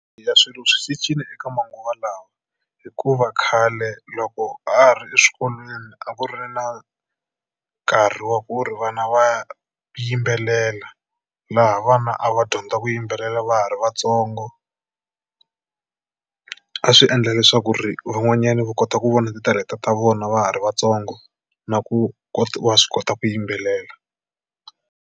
Eya swilo swi cincile eka manguva lawa hikuva khale loko ha ha ri eswikolweni a ku ri na nkarhi wa ku ri vana va yimbelela. Laha vana a va dyondza ku yimbelela va ha ri vatsongo. A swi endla leswaku ri van'wanyani va kota ku vona titalenta ta vona va ha ri vatsongo na ku kota wa swi kota ku yimbelela.